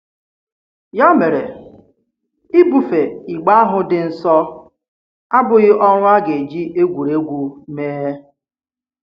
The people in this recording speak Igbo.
Ya mere, ibùfe ìgbe ahụ dị nsọ abụghị ọrụ a ga-eji egwuri egwu mee.